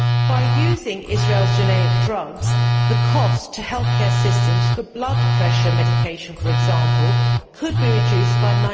By using Israel's generic drugs, the cost to healthcare systems for blood pressure medication, for example, could be reduced by